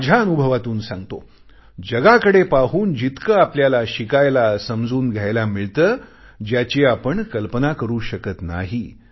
मी माझ्या अनुभवातून सांगतो जगाकडे पाहून जितके आपल्याला शिकायला समजून घ्यायला मिळते ज्याची आपण कल्पना करू शकत नाही